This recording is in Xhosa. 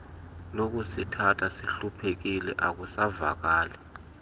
lokusithatha sihluphekile akusavakali